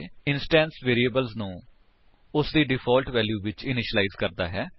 instance variables ਨੂੰ ਉਸਦੀ default value ਵਿੱਚ ਇਨਿਸ਼ਿਲਾਇਜ ਕਰਦਾ ਹੈ